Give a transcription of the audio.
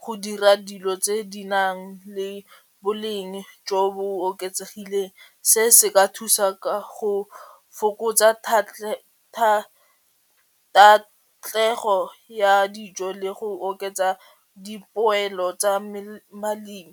go dira dilo tse di nang le boleng jo bo oketsegileng se se ka thusa ka go fokotsa ya dijo le go oketsa dipoelo tsa balemi.